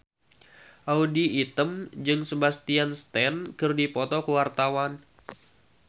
Audy Item jeung Sebastian Stan keur dipoto ku wartawan